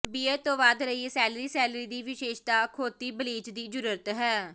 beer ਤੋਂ ਵਧ ਰਹੀ ਸੈਲਰੀ ਸੈਲਰੀ ਦੀ ਵਿਸ਼ੇਸ਼ਤਾ ਅਖੌਤੀ ਬਲੀਚ ਦੀ ਜ਼ਰੂਰਤ ਹੈ